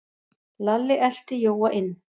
Lalli elti Jóa inn.